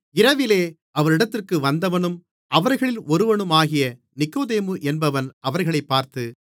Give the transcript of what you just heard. இரவிலே அவரிடத்திற்கு வந்தவனும் அவர்களில் ஒருவனுமாகிய நிக்கொதேமு என்பவன் அவர்களைப் பார்த்து